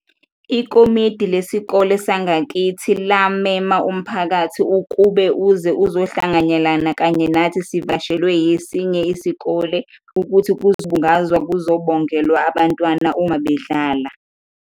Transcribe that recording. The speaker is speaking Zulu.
Ikomidi lesikole sangakithi la mema umphakathi ukube uze uzohlanganyelana kanye nathi sivakashelwe esinye isikole ukuthi kuzobungazwa kuzobongelwa abantwana uma bedlala.